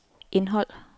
indhold